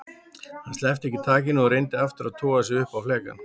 Hann sleppti ekki takinu og reyndi aftur að toga sig upp á flekann.